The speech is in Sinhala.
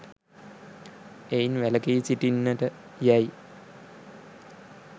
එයින් වැළකී සිටින්නට යැයි